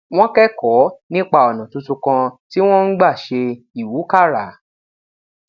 wón kékòó nípa ònà tuntun kan tí wón ń gbà ṣe ìwúkàrà